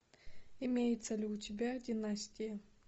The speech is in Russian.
имеется ли у тебя династия